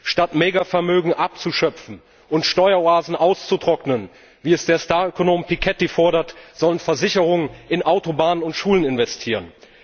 Statt Mega Vermögen abzuschöpfen und Steueroasen auszutrocknen wie es der Starökonom Piketty fordert sollen Versicherungen in Autobahnen und Schulen investieren.